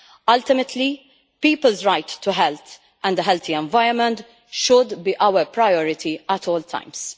Ultimately, people's right to health and a healthy environment should be our priority at all times.